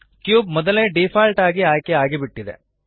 cube ಮೊದಲೇ default ಆಗಿ ಆಯ್ಕೆ ಆಗಿಬಿಟ್ಟಿದೆ